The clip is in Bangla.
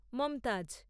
মমতাজ